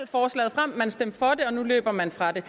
forslaget frem man stemte for det og nu løber man fra det